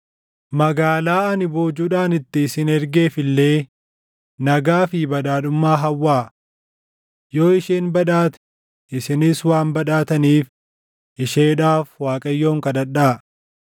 Magaalaa ani boojuudhaan itti isin ergeef illee nagaa fi badhaadhummaa hawwaa. Yoo isheen badhaate, isinis waan badhaataniif isheedhaaf Waaqayyoon kadhadhaa.”